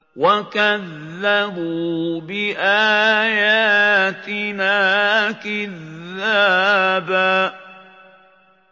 وَكَذَّبُوا بِآيَاتِنَا كِذَّابًا